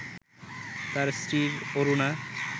তাঁর স্ত্রী অরুণা